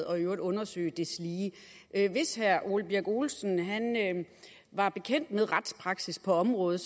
og i øvrigt undersøge deslige hvis herre ole birk olesen var bekendt med retspraksis på området